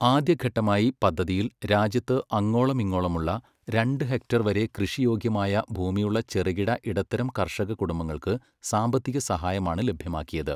ആദ്യഘട്ടമായി പദ്ധതിയിൽ രാജ്യത്ത് അങ്ങോളമിങ്ങോളമുള്ള രണ്ട് ഹെക്ടർ വരെ കൃഷിയോഗ്യമായ ഭൂമിയുള്ള ചെറുകിട, ഇടത്തരം കർഷക കുടുംബങ്ങൾക്ക് സാമ്പത്തിക സഹായമാണ് ലഭ്യമാക്കിയത്.